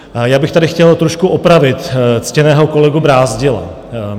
Já bych tady chtěl trošku opravit ctěného kolegu Brázdila.